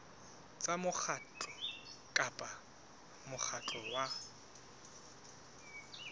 tsa mokgatlo kapa mokgatlo wa